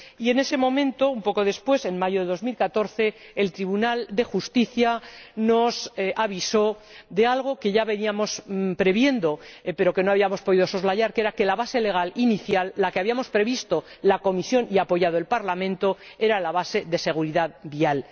Y, en ese momento, poco después, en mayo de 2014, el Tribunal de Justicia nos avisó de algo que ya veníamos previendo, pero que no habíamos podido soslayar, que era que la base legal inicial, la que había previsto la Comisión y apoyado el Parlamento, era la base de la seguridad vial.